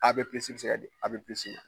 bɛ se ka di ma